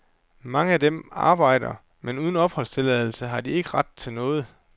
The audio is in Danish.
Mange af dem arbejder, men uden opholdstilladelse har de ikke ret til noget.